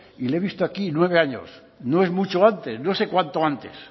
y le he visto aquí nueve años no es mucho antes no sé cuánto antes